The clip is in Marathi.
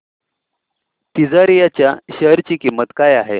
तिजारिया च्या शेअर ची किंमत काय आहे